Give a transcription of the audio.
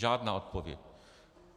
Žádná odpověď.